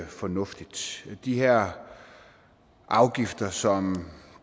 fornuftigt de her afgifter som